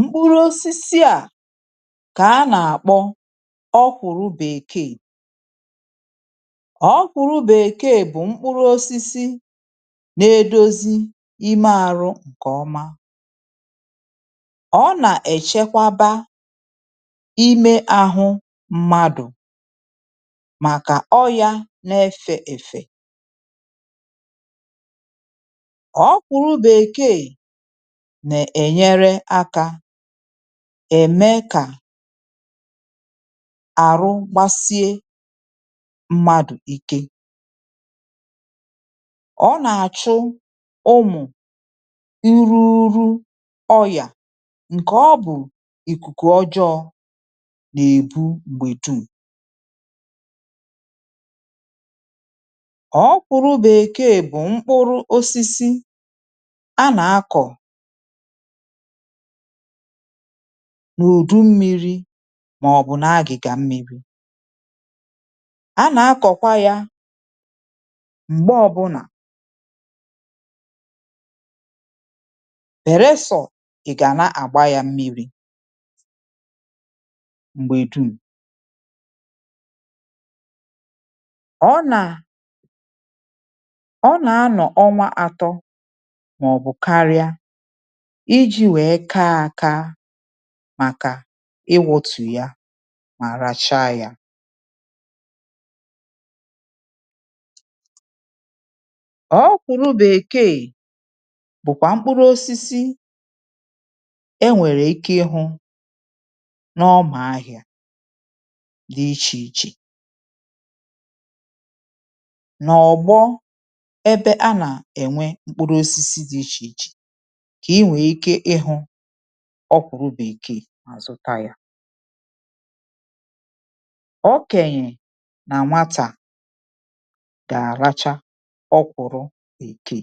Mkpụrụ osisi à kà a nà-àkpọ ọ̀kwụ̀rụ̀ bèkeè. Ọ̀kwụ̀rụ̀ bèkeè bụ̀ mkpụrụ osisi na-edozi ime àrụ ǹkèọma. Ọ nà-èchekwaba ime àhụ mmadụ̀ màkà ọrịȧ na-efè èfè. Ọ̀kwụ̀rụ̀ bèkeè na-enyere aka ème kà àrụ gbasie mmadụ̀ ike. Ọ nà-àchụ ụmụ̀ iru urù ọyà ǹkè ọ bụ̀ ìkùkù ọjọọ nà-èbu m̀gbè duùm. Ọ̀kwụ̀rụ̀ bèkeè bụ̀ mkpụrụ osisi a nà-akọ̀ n’ùdu mmiri maọbụ na-agịga mmiri. A na-akọkwa ya mgbe ọbụna belesọ ị̀ ga na-agba ya mmiri m̀gbè duùm. Ọ nà ọ nà-anọ ọnwa atọ maọbụ karịaa iji wee kaa aka màkà ịwụọtu ya mà racha yȧ. Ọ̀kwụ̀rụ̀ bèkeè bụkwa mkpụrụosisi enwere ike ihụ n'ọ̀mà ahịa dị iche iche n'ọgbọ ebe a na-enwe mkpụrụosisi dị iche iche ke enwe ike ihụ ọ̀kwụ̀rụ̀ bèkeè mà zụta yȧ. Okènyè nà nwatà gà-àracha ọkwụ̇rụ̇ bèkeè.